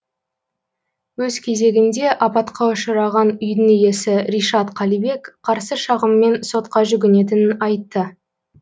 өз кезегінде апатқа ұшыраған үйдің иесі ришат қалибек қарсы шағыммен сотқа жүгінетінін айтты